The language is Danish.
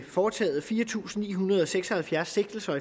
foretaget fire tusind ni hundrede og seks og halvfjerds sigtelser